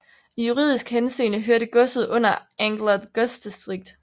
I juridisk henseende hørte godset under Angler godsdistrikt